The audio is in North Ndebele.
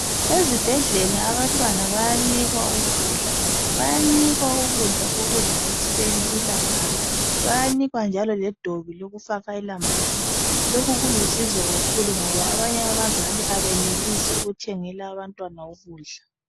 ezibhedlela abantwana bayanikwa ukudla bayanikwa ukudla kokudla ekuseni ilambazi bayanikwa njalo ledobi lokufaka elambazini lokhu kulusizo kakhulu ngoba abanye abazali abenelisi ukuthengela abantwana ukudla